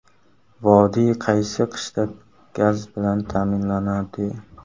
Vodiy qaysi qishda gaz bilan ta’minlanadi?